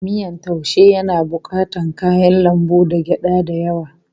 Miyan taaushe yana bukatar kayan lambu da gyada da yawa.